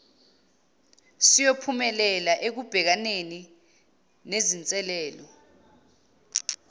siyophumelela ekubhekaneni nezinselelo